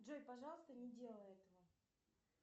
джой пожалуйста не делай этого